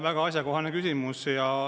Väga asjakohane küsimus.